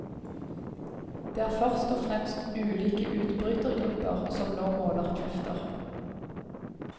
Det er først og fremst ulike utbrytergrupper som nå måler krefter.